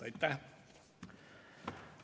Aitäh!